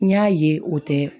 N y'a ye o tɛ